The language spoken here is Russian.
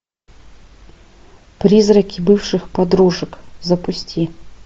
призраки бывших подружек запусти